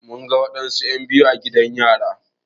Mun ga wasu en biyu a gidan yari